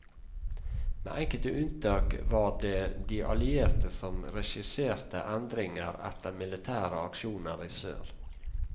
Med enkelte unntak var det de allierte som regisserte endringer etter militære aksjoner i sør.